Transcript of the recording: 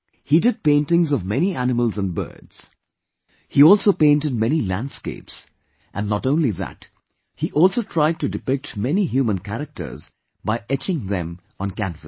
He did paintings of many animals and birds, he also painted many landscapes, and not only that he also tried to depict many human characters by etching them on canvas